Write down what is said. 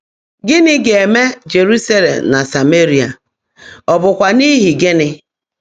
Gị́ní gá-èmè Jéruúsálé̀m nà Sámméríà, ọ́ bụ́kwá n’íhí gị́ní?